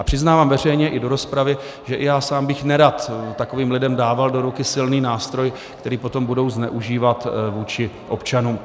A přiznávám veřejně i do rozpravy, že i já sám bych nerad takovým lidem dával do ruky silný nástroj, který potom budou zneužívat vůči občanům.